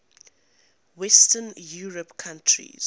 western european countries